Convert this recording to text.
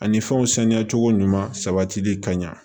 Ani fɛnw saniya cogo ɲuman sabatili kaɲi